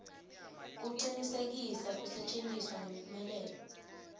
kucinisekisa kusetjentiswa ngemphumelelo